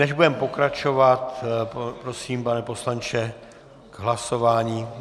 Než budeme pokračovat, prosím, pane poslanče, k hlasování.